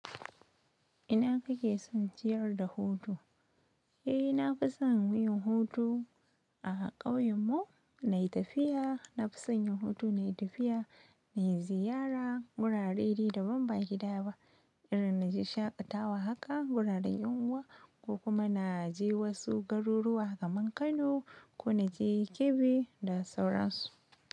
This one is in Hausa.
Ina kake son ciyar da hutu? Eh, na fi son yin hutu a ƙauyen mu, na yi tafiya, na fi son yin hutu na yi tafiya, na ziyara wurare da ban ba gida ba, inda na je shaƙatawa haka wuraren yin uwa, ko kuma na je wasu garuruwa kamar Kano ko na je Kebbi da sauransu.